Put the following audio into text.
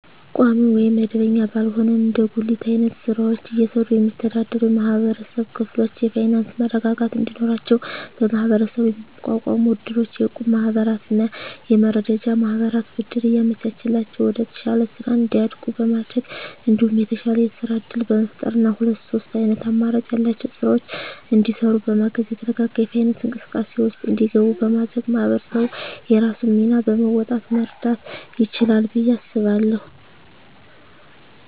ቋሚ ወይም መደበኛ ባልሆነ እንደ ጉሊት አይነት ስራወችን እየሰሩ የሚስተዳደሩ የማህበረሰብ ክፍሎች የፋይናንሰ መረጋጋት እንዲኖራቸው በመሀበረሰቡ የሚቋቋሙ እድሮች፣ የእቁብ ማህበራትና የመረዳጃ ማህበራት ብድር እያመቻቸላቸው ወደተሻለ ስራ እንዲያድጉ በማድረግ እንዲሁም የተሻለ የስራ እድል በመፍጠርና ሁለት ሶስት አይነት አማራጭ ያላቸውን ስራወች እንዲሰሩ በማገዝ የተረጋጋ የፋይናንስ እንቅስቃሴ ውስጥ እንዲገቡ በማድረግ ማህበረሰቡ የራሱን ሚና በመወጣት መርዳት ይችላል ብየ አስባለሁ።